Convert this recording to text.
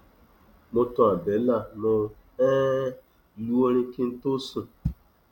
mo tan àbẹlà mo um lu orin kí n tó sùn